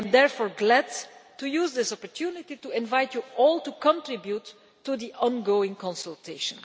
I am therefore glad to use this opportunity to invite you all to contribute to the ongoing consultation.